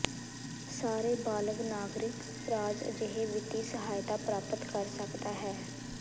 ਸਾਰੇ ਬਾਲਗ ਨਾਗਰਿਕ ਰਾਜ ਅਜਿਹੇ ਵਿੱਤੀ ਸਹਾਇਤਾ ਪ੍ਰਾਪਤ ਕਰ ਸਕਦਾ ਹੈ